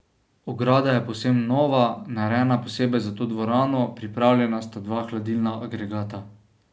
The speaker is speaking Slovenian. Ograda je povsem nova, narejena posebej za to dvorano, pripravljena sta dva hladilna agregata.